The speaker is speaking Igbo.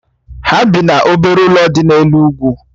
Ha bị n'obere ụlọ dị n'elu úgwù